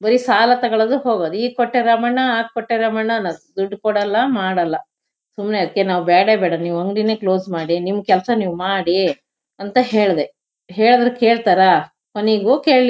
ಬರಿ ಸಾಲ ತಗೊಳ್ಳೋದು ಹೋಗೋದು ಈಗ್ ಕೊಟ್ಟೆ ರಾಮಣ್ಣ ಆಗ್ ಕೊಟ್ಟೆ ರಾಮಣ್ಣ ಅಂತ ಹೋಗೋದು ಅನ್ನದ್ ದುಡ್ಡ್ ಕೊಡಲ್ಲ ಮಾಡಲ್ಲ ಸುಮ್ನೆ ಅದ್ಕೆ ನಾವ್ ಬ್ಯಾಡೇ ಬೇಡ ನೀವ್ ಅಂಗ್ಡಿನೆ ಕ್ಲೋಸ್ ಮಾಡಿ ನಿಮ್ ಕೆಲ್ಸ ನೀವ್ ಮಾಡಿ ಅಂತ ಹೇಳ್ದೆಹೆಳ್ದ್ರೆ ಕೇಳ್ತಾರ ಕೊನಿಗೂ ಕೇಳ್ಲಿಲ್--